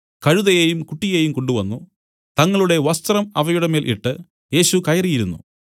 കഴുതയെയും കുട്ടിയെയും കൊണ്ടുവന്നു തങ്ങളുടെ വസ്ത്രം അവയുടെമേൽ ഇട്ട് യേശു കയറി ഇരുന്നു